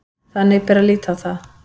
Þannig bera að líta á það